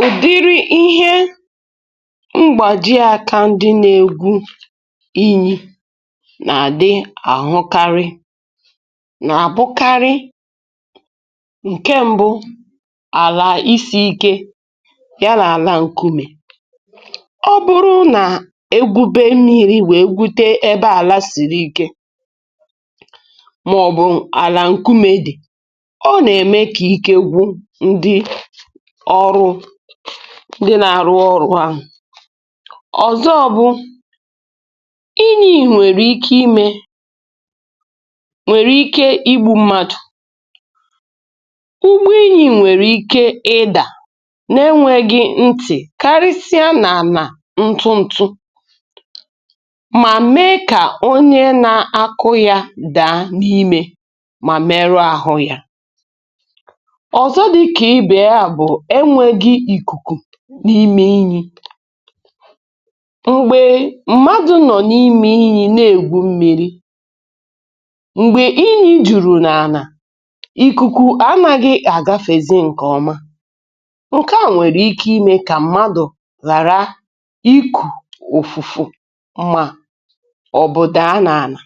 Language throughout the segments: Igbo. Ụdiri ihe mgbaji akȧ ndị nȧ-ėgwu inyi̇ nà-àdị àhụkarị nà-àbụkarị ǹke mbụ: àlà isi̇ ike yà na àlà ǹkume. Ọ bụrụ nà egwube mmírí wèe gwute ebe àla sìrì ike, màọ̀bụ̀ àlà ǹkumė dị̀, ọ nà-ème kà ike gwụ ndị ọrụ, ndi nà-àrụ ọrụ ahụ̀. Ọzọ bụ inyì nwèrè ike imė, nwèrè ike igbu̇ mmadụ̀, ugbo inyì nwèrè ike ịdà n’enwėghi̇ ntị̀, karịsịa n’àna ntụ ntụ, mà mee kà onye na-akụ̇ ya daa n’imė mà meru àhụ ya. Ọzọ dịka ibe ya bu, enweghị ikuku n’ime inyi. m̀gbè mmadụ̀ nọ̀ n’imė inyi na-ègwu mmi̇ri m̀gbè inyi jùrù n’àna, ikuku ànaghị̇ àgafèzè ǹkè ọma, nke a nwèrè ike imė kà mmadụ̀ ghàra ikù òfùfù mà obu daa nà àna.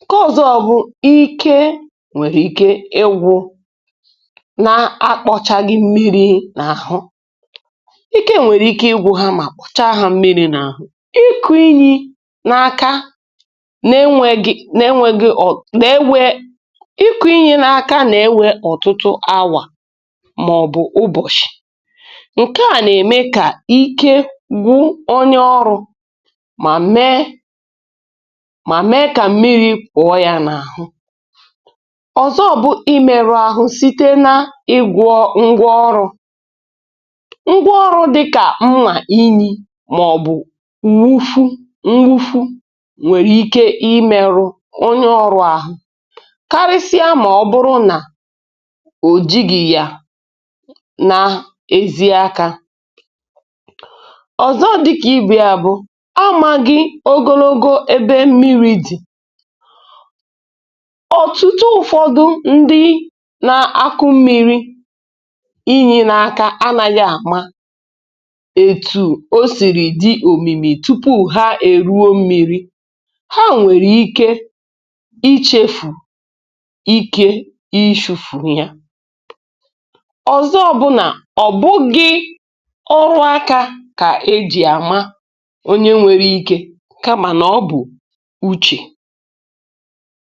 Nke ọ̇zọ̇ bụ̀, ike nwèrè ike ịgwụ̇ na akpochaghi na ahu, ikė nwèrè ike igwu̇ n'akpọchaghi mmiri n'ahụ, ike nwere ike igwu ha mà kpọ̀chaa hȧ mmiri̇ na ahụ̀. Ịkụ̇ inyì n’aka n’enwėghi̇, n'enweghi o, na-ewe, ịkụ̇ inyì n’aka nà-ewe ọ̀tụtụ awà màọ̀bụ̀ ubọ̀chì, ǹkè à nà-ème kà ike gwụ onye ọrụ̇, mà mee, mà mee kà m̀miri̇ pụọ yȧ n’àhu. Ọzọ bụ̀ imèrụ̇ ahụ̀ site na ịgwọ̇ ngwa ọrụ̇, ngwá ọrụ dịkà mma inyì màọ̀bụ̀ nwufu nwufu nwèrè ike imėrụ onye ọ̇rụ̇ àhụ, karịsịa mà ọ bụrụ nà ò jighi yà n'ezi aka. Ọzọ dịkà ibe ya bụ̀ amȧghị̇ ogologo ebe mmiri̇ dị̀. Ọtụtụ ụ̀fọdụ ndị na-akụ̇ mmiri̇ inyi n'aka anȧghị àma etu̇ o sìri dị òmìmì tupu ha èruo m̀miri, ha nwèrè ike ichefù ike ichu̇fù ya. Ọzọ bụ na, ọ̀ bụgị ọrụ aka kà e jì àma onye nwere ike, kamà na ọ bụ̀ uchè.